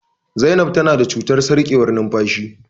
Zainab ta na da cutar sarƙewar numfashi